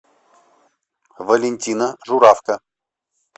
валентина журавка